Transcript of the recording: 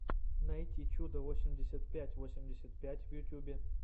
найти чудо восемьдесят пять восемьдесят пять в ютубе